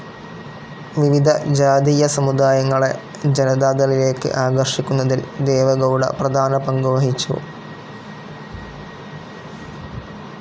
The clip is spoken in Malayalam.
വിവിധ ജാതീയ സമുദായങ്ങളെ ജനതാദളിലേക്ക് ആകർഷിക്കുന്നതിൽ ദേവെഗൗഡ പ്രധാന പങ്കുവഹിച്ചു.